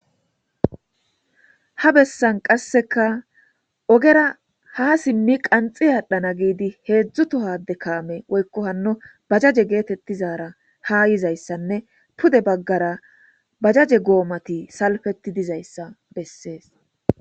Ha bessan qasseka ogera ha simmi qanxxi aadhana giidi heedzdzu tohade kaame woykko hanno bajaje geetetizara ha yizayssanne pude baggara bajaje goomati salfetti dizayssa bessees.